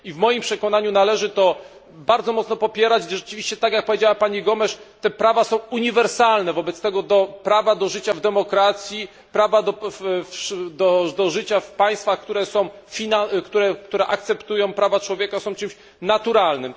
I w moim przekonaniu należy to bardzo mocno popierać, gdyż rzeczywiście tak, jak powiedziała pani Gomes te prawa są uniwersalne, wobec tego prawo do życia w demokracji, prawo do życia w państwach, które akceptują prawa człowieka, są czymś naturalnym.